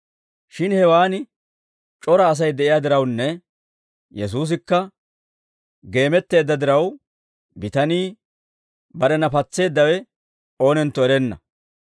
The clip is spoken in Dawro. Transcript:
Shin hewaan c'ora Asay de'iyaa dirawunne, Yesuusikka geemetteedda diraw, bitanii barena patseeddawe oonentto erenna.